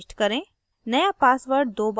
पुराना password प्रविष्ट करें